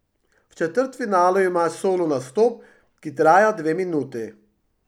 V četrtfinalu imaš solo nastop, ki traja dve minuti.